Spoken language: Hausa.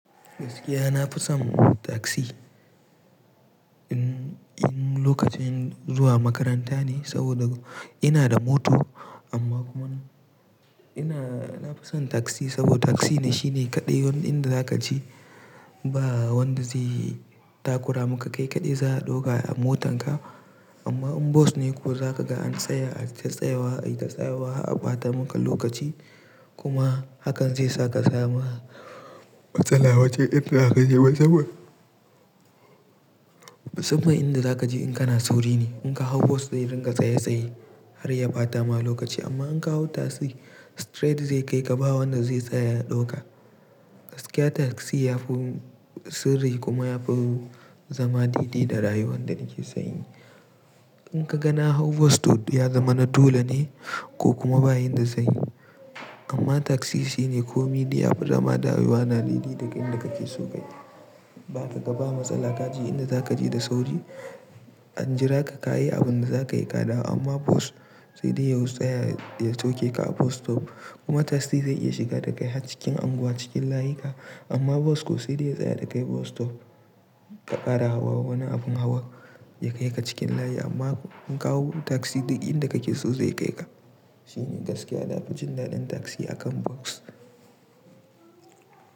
Gaskiya na fi son tasi in lokacin zuwa makaranta ne saboda ina da mota amma kuma ina nafi son tasi saboda tasi shine kaɗai wanda zaka je ba wanda zai takura maka kai kaɗai za a ɗauka a motan ka. Amma in bas ne ko zaka ga an tsaya ai ta tsayawa a yi ta tsayawa har ɓata muku lokaci kuma hakan zai saka sama matsala wajen inda aka je wajenmu. Musamman inda zaka je in kana sauri ne. In ka hau bos zai ringa tsaye tsaye har ya ɓata ma lokaci amma in ka hau tasi straight zai kai ka ba wanda zai tsaya ya ɗauka. Gaskiya taksi yafi mun sirri kuma yafi zama daɗi da rayuwan da nake san yi. In ka ga na hau bus to d-- ya zama na dole ne ko kuma ba yinda zan yi. Amma taksi shine ko me afi zama da rayuwa na daɗi daga inda kake so kai. Da ka ga ba matsala kaje inda zaka je da sauri an jira ka ka yi abin da za ka yi ka dawo amma bos sai dai ya y-- tsaya ya sauke ka a bus stop kuma taksi zai iya shiga da kai har cikin unguwa cikin layuka amma bos ko sai dai ya tsaya da kai bus stop ka ƙara hawa wani abun hawa ya kai ka cikin layi amma in ka hau taksi duk inda kake so zai kai ka. Shi ne gaskiya na fi jin daɗin taksi akan bos.